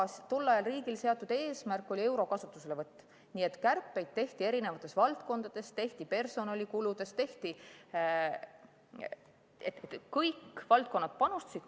Aga tol ajal oli riigi seatud eesmärk euro kasutuselevõtt, nii et kärpeid tehti eri valdkondades, tehti personalikuludes – kõik valdkonnad panustasid.